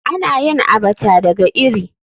Ana yin Abacha daga iri.